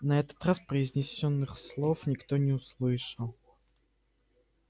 на этот раз произнесённых слов никто не услышал